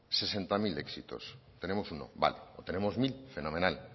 sesenta mil éxitos tenemos uno vale o tenemos mil fenomenal